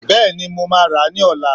Bẹ́ẹ̀ni, mo ma ra ni lọ́la